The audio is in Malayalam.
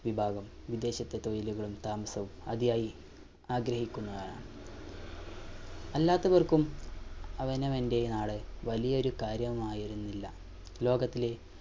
വിഭാഗം വിദേശത്ത് തൊഴിലുകളും താമസവും അതിയായി ആഗ്രഹിക്കുന്നയാളാണ് അല്ലാത്തവർക്കും അവനവന്റെ നാട് വലിയൊരു കാര്യമായിരുന്നില്ല ലോകത്തിലെ